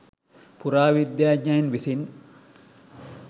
පුරාවිද්‍යාඥයන් විසින්